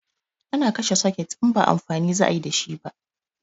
Ana kashe soket in ba amfani za ayi dashi ba